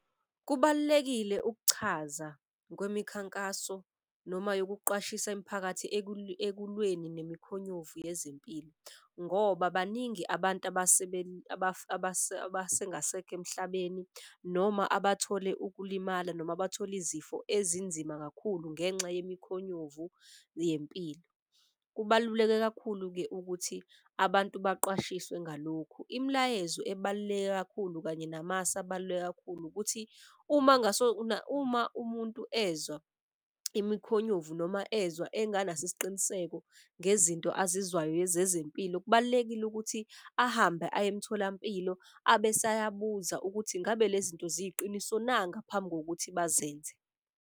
Kubalulekile ukuchaza kwemikhankaso noma yokuqwashisa imiphakathi ekulweni ngemikhonyovu yezempilo. Ngoba baningi abantu abasengasekho emhlabeni, noma abathole ukulimala, noma bathole izifo ezinzima kakhulu ngenxa ngemikhonyovu yempilo. Kubaluleke kakhulu-ke ukuthi abantu baqwashiswe ngalokhu. Imilayezo ebaluleke kakhulu kanye namasu abaluleke kakhulu ukuthi uma umuntu ezwa imkhonyovu noma ezwa enganaso isiqiniseko ngezinto azizwayo zezempilo. Kubalulekile ukuthi ahambe aye emtholampilo abese ayabuza ukuthi ngabe le zinto ziyiqiniso na, ngaphambi ngokuthi bazenze.